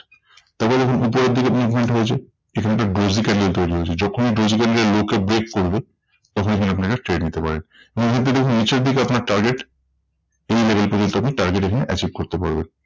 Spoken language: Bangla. তবে দেখুন উপরের দিকে movement হয়েছে এখানে একটা dozy candle তৈরী হয়েছে যখনি dozy candle low কে break করবে তখন এখানে আপনারা trade নিতে পারেন। এর মধ্যে দেখুন নিচের দিকে আপনার target এই level পর্যন্ত আপনি target এখানে achieve করতে পারবেন।